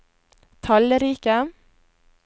tallrike